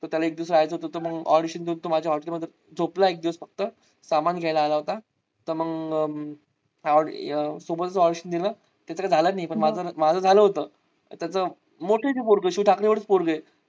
तर त्याला एक दिवस राहायचं होत. तर मग audition देऊन तो माझ्या hotel मध्ये झोपला फक्त सामान घ्यायला आला होता. तर मग त्याच तर झालाच नाही माझं झालं होत. त्याच मोठं आहे ते पोरगं शिव ठाकरे एवढाच पोरग आहे.